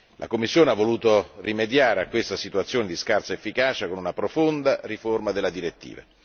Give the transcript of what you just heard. La Commissione ha voluto rimediare a questa situazione di scarsa efficacia con una profonda riforma della direttiva.